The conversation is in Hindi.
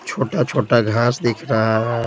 छोटा-छोटा घास दिख रहा है।